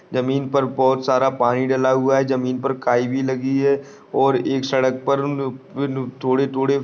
जमीन पर बहुत सारा पानी डला हुआ है जमीन पर काई भी लगी है और एक सड़क पर थोड़े थोड़े --